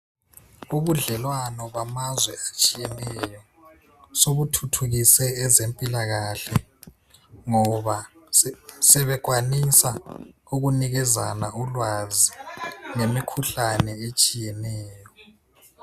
Ubudlelwano bamazwe atshiyeneyo sobuthuthukise ezempilakahle ngoba sebekwanisa ukunikezana ulwazi ngemikhuhlane etshiyeneyo.